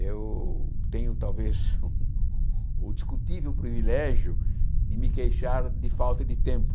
Eu tenho talvez o discutível privilégio de me queixar de falta de tempo.